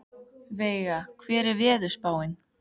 Veiga, hvernig er veðurspáin?